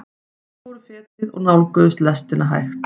Þau fóru fetið og nálguðust lestina hægt.